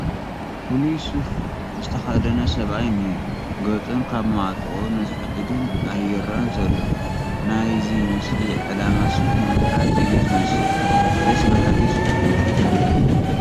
ፍሉይ ሱፈ ዝተኸደነ ሰብኣይ እኒሀ፡፡ ገፁን ካብ ማዕጦቑኡ ንታሕትን ግን ኣይርአን ዘሎ፡፡ ናይዚ ምስሊ ዕላማ ሱፍ ንምፍላጥ እዩ ዝመስል፡፡ ደስ በሃሊ ሱፍ እዩ፡፡